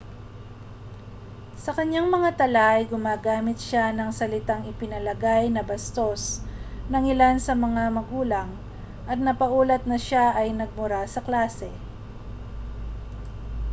sa kaniyang mga tala ay gumamit siya ng mga salitang ipinalagay na bastos ng ilan sa mga magulang at napaulat na siya ay nagmura sa klase